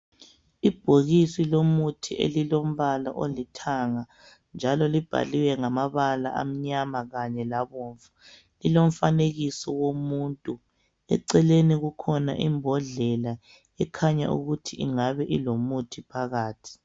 Ibhokisi lomuthi elilombala olithanga njalo libhaliwe ngamabala amnyama kanye labomvu, lilomfanekiso womuntu, eceleni kukhona imbodlela ekhanya ukuthi ingabe ilomuthi phakathi.